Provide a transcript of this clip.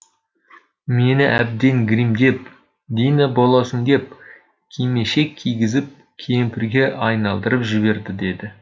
мені әбден гримдеп дина боласың деп кимешек кигізіп кемпірге айналдырып жіберді деді